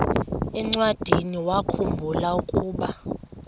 encwadiniwakhu mbula ukuba